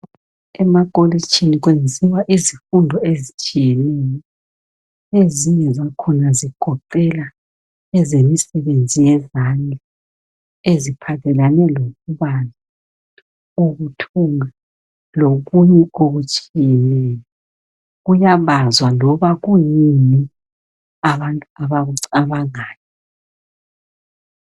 Emakolitshini ukwenziwa izifundo ezitshiyeneyo ezinye zakhona ezigoqela ezemisebenzi yezandla eziphathelane lokubaza ukuthunga lokunye okutshiyeneyo kuyabazwa loba kuyini abantu abakucabangayo